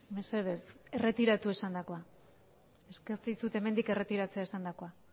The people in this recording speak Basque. mesedez erretiratu esandakoa eskatzen dizut hemendik erretiratzea esandakoa